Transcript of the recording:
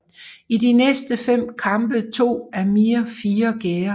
I de næste fem kampe tog Amir fire gærder